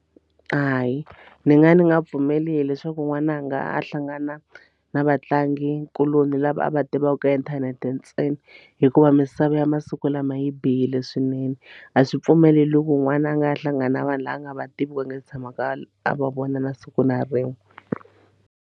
Hayi ni nga ni nga pfumeli leswaku n'wananga a hlangana na vatlangikuloni lava a va tivaka ka inthanete ntsena hikuva misava ya masiku lama yi bihile swinene a swi pfumeleliwi loko n'wana a nga hlangana na vanhu lava nga va tiviku a nga si tshamaka a va vona na siku na rin'we.